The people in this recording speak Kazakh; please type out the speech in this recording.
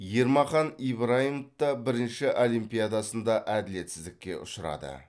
ермахан ибрайымов та бірінші олимпиадасында әділетсіздікке ұшырады